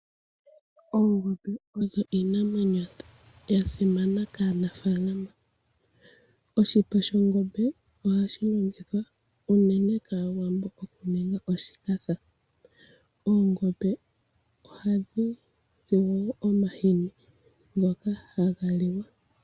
Oongombe odho Iinamwenyo ya simana kaanafalama, oshipa shongombe ohashi ningithwa unene kawaambo okuninga oshikatha. Oongombe ohadhi zi wo omahini ngoka haga liwa.